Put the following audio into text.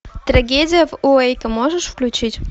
трагедия в уэйко можешь включить